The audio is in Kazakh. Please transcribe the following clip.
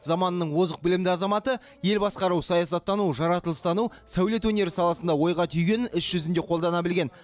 заманының озық білімді азаматы ел басқару саясаттану жаратылыстану сәулет өнері саласында ойға түйгенін іс жүзінде қолдана білген